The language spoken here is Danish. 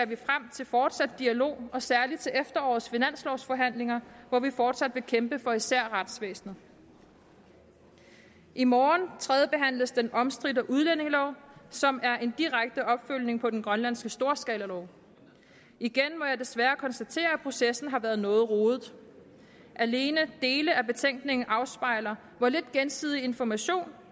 vi frem til fortsat dialog og særlig til efterårets finanslovsforhandlinger hvor vi fortsat vil kæmpe for især retsvæsenet i morgen tredjebehandles den omstridte udlændingelov som er en direkte opfølgning på den grønlandske storskalalov igen må jeg desværre konstatere at processen har været noget rodet alene dele af betænkningen afspejler hvor lidt gensidig information